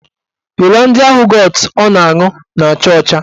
Holandịa yogọtụ ọ na-aṅụ na-acha ọcha